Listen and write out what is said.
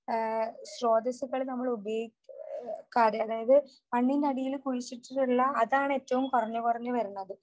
സ്രോതസ്സുകൾ നമ്മൾ ഉപയോഗിക്കാതെ അതായത് മണ്ണിനടിയിൽ കുഴിച്ചിട്ടിട്ടുള്ള അതാണ് ഏറ്റവും കുറഞ്ഞു കുറഞ്ഞു വരുന്നത്